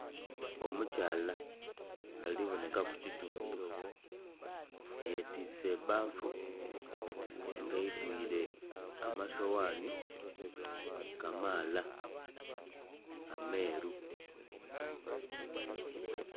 Omukyala ali bonhekaku kitundhu yetwise ebbafu nga eidhwire amasoghaani kamaala ameeru.